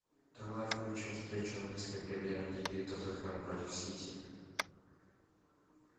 давай включим встречу английской премьер лиги тоттенхэм против сити